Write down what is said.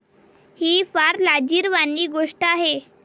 ही फार लाजिरवाणी गोष्ट आहे.